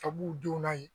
Ka b'u denw na yen